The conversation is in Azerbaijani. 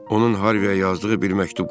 Onun Harviyə yazdığı bir məktub qalıb.